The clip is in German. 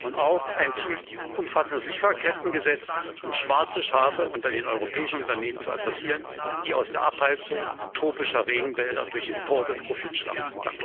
Wir brauchen auch ein umfassendes Lieferkettengesetz, um schwarze Schafe unter den europäischen Unternehmen zu adressieren, die aus der Abholzung tropischer Regenwälder durch Importe Profit schlagen.